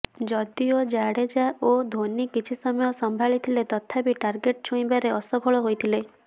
ଯଦିଓ ଜାଡେଜା ଓ ଧୋନୀ କିଛି ସମୟ ସମ୍ଭାଳି ଥିଲେ ତଥାପି ଟାର୍ଗେଟ ଛୁଇଁବାରେ ଅସଫଳ ହୋଇଥିଲେ